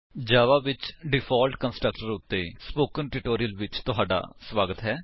ਜਾਵਾ ਵਿੱਚ default constructor ਉੱਤੇ spoken tutorial ਵਿੱਚ ਤੁਹਾਡਾ ਸਵਾਗਤ ਹੈ